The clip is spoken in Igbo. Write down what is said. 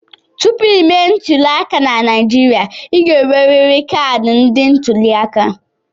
Tupu ịme ntuliaka na Naijiria, ị ga-enwerịrị kaadị ndị ntuliaka.